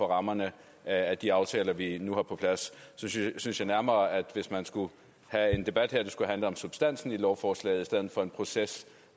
rammerne af de aftaler vi nu har på plads jeg synes nærmere at hvis man skulle have en debat her skulle den handle om substansen i lovforslaget i stedet for om en proces